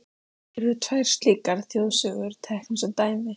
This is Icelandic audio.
Hér verða tvær slíkar þjóðsögur teknar sem dæmi.